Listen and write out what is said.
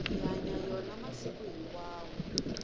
hi hanya yona masiku hinkwawo